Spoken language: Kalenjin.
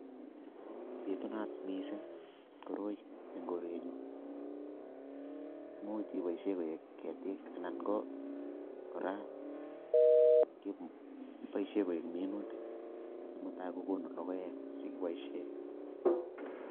Bitunat missing koroi eng korenyu, much keboishe koek ketik anan ko kora keboishe koek minutik che mutai kokonu logoek che kiboishe.